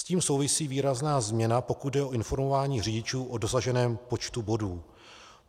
S tím souvisí výrazná změna, pokud jde o informování řidičů o dosaženém počtu bodů.